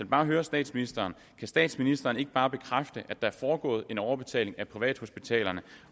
bare høre statsministeren kan statsministeren ikke bare bekræfte at der er foregået en overbetaling af privathospitalerne